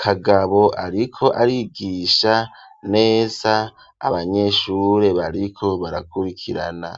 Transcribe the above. Kagabo ariko arigisha neza abanyeshure bariko barakurikirana.